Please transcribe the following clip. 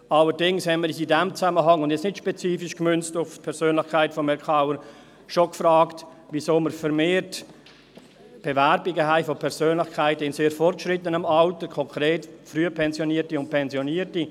Allerdings haben wir uns in diesem Zusammenhang – und jetzt nicht spezifisch auf die Persönlichkeit von Herrn Kauer gemünzt – schon gefragt, weshalb wir vermehrt Bewerbungen von Persönlichkeiten in sehr fortgeschrittenem Alter haben, konkret: Frühpensionierte und Pensionierte.